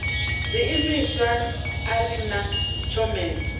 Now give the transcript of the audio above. zwiimiswa a ri na tshomedzo